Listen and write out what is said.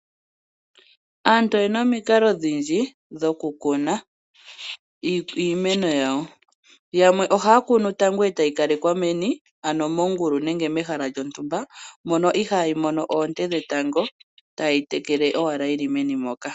Aantu oye na omikalo odhindji dhokukuna iimeno yawo. Yamwe ohaya kunu tango etayi kalekwa meni, ano mongulu nenge mehala lyontumba mono ihaayi mono oonte dhetango taayi tekele owala yi li meni moka.